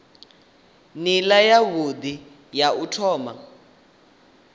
nila yavhui ya u thoma